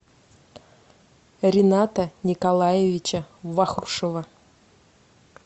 рината николаевича вахрушева